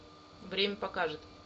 время покажет